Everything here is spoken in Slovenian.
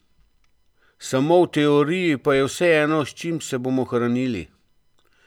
Samo v teoriji pa je vseeno, s čim se bomo hranili!